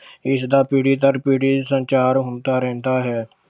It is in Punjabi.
ਇਸਦਾ ਪੀੜ੍ਹੀ ਦਰ ਪੀੜ੍ਹੀ ਸੰਚਾਰ ਹੁੰਦਾ ਰਹਿੰਦਾ ਹੈ।